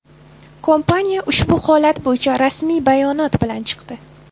Kompaniya ushbu holat bo‘yicha rasmiy bayonot bilan chiqdi .